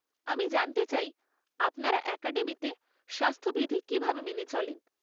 আমি জানতে চাই আপনারা অ্যাকাডেমিতে স্বাস্থ্যবিধি কীভাবে মেনে চলেন।